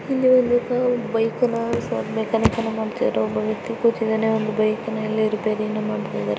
ಇಲ್ಲಿ ಒಬ್ಬ ಬೈಕ್ ಅನ್ನ ಮೆಕಾನಿಕ ಮಾಡ್ತಾ ಇರೋ ಒಬ್ಬ ವ್ಯಕ್ತಿ ಕೂತಿದ್ದಾನೆ ಒಂದು ಬೈಕ್ ಅನ್ನ ರಿಪೇರಿಯನ್ನ ಮಾಡ್ತಾ ಇದನೇ.